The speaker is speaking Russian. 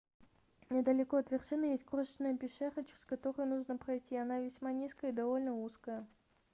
недалеко от вершины есть крошечная пещера через которую нужно пройти она весьма низкая и довольно узкая